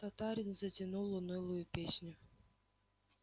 татарин затянул унылую песню